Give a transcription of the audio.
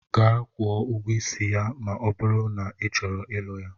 Gaa kwuo ụgwọ isi ya ma ọ bụrụ na ị chọrọ ịlụ ya!